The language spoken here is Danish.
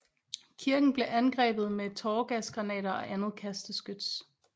Kirken blev angrebet med tåregasgranater og andet kasteskyts